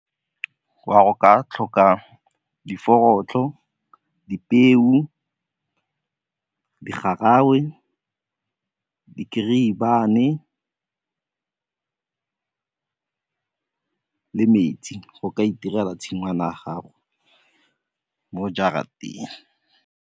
Go a go ka tlhoka di dipeo, di garangwe, di le metsi go ka itirela tshingwana ya gago mo jarateng.